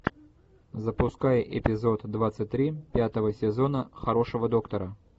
запускай эпизод двадцать три пятого сезона хорошего доктора